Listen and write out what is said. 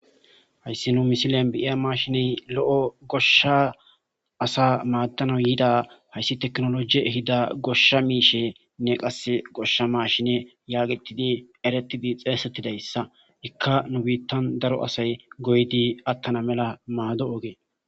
hayssi nu misilen biiya mashiney lo7o goshsha asa maaddano yiida hayssi teknoloji ehida goshsha miishe nne qasse goshsha mashine yaagetidi eretidi xeesettidayssa ikka nu biittan daro asay goydi attana mela maado ogee